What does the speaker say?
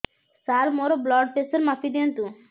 ସାର ମୋର blood pressure ମାପି ଦିଅନ୍ତୁ